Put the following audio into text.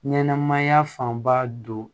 Ɲɛnɛmaya fanba don